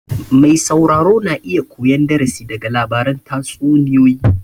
Mai sauraro na iya koyan darasi daga labaran tatsuniyoyi